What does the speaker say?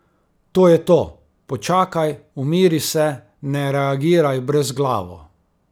To je to, počakaj, umiri se, ne reagiraj brezglavo.